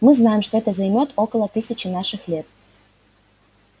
мы знаем что это займёт около тысячи наших лет